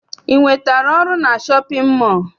I nwetere ọrụ na shọpịn mọọ?